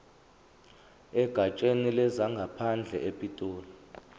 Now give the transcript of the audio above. egatsheni lezangaphandle epitoli